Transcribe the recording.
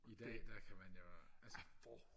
i dag der kan man jo altså